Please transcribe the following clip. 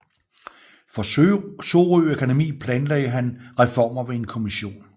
For Sorø Akademi planlagde han reformer ved en kommission